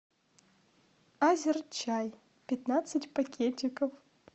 азер чай пятнадцать пакетиков